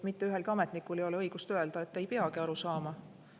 Mitte ühelgi ametnikul ei ole õigust öelda, et ta ei peagi aru saama.